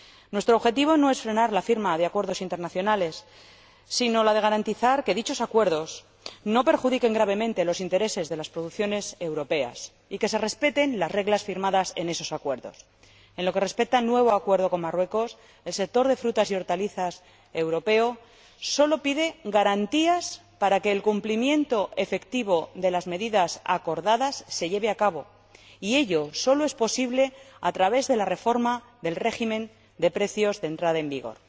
Nuestro objetivo no es frenar la firma de acuerdos internacionales, sino garantizar que dichos acuerdos no perjudiquen gravemente los intereses de las producciones europeas y que se respeten las reglas firmadas en esos acuerdos. En lo que respecta al nuevo acuerdo con Marruecos, el sector de frutas y hortalizas europeo sólo pide garantías para que el cumplimiento efectivo de las medidas acordadas se lleve a cabo, y ello sólo es posible a través de la reforma del régimen de precios de entrada en vigor.